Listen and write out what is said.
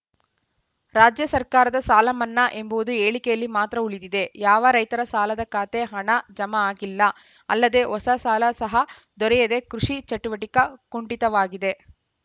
ರಾಜ್ಯ ಸರ್ಕಾರದ ಸಾಲ ಮನ್ನಾ ಎಂಬುದು ಹೇಳಿಕೆಯಲ್ಲಿ ಮಾತ್ರ ಉಳಿದಿದೆ ಯಾವ ರೈತರ ಸಾಲದ ಖಾತೆ ಹಣ ಜಮಾ ಆಗಿಲ್ಲ ಅಲ್ಲದೆ ಹೊಸ ಸಾಲ ಸಹ ದೊರೆಯದೆ ಕೃಷಿ ಚಟುವಟಿಕೆ ಕುಂಠಿತವಾಗಿದೆ